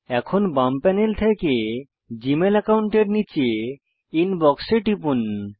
এখন বাম প্যানেল থেকে জীমেল অ্যাকাউন্টের নীচে ইনবক্স এ টিপুন